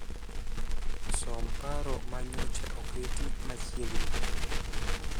Som paro ma nyocha oketi machiegni